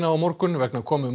á morgun vegna komu